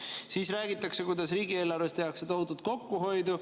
Ja siis räägitakse, kuidas riigieelarves tehakse tohutut kokkuhoidu.